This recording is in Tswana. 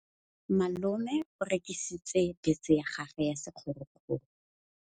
Malome o rekisitse bese ya gagwe ya sekgorokgoro.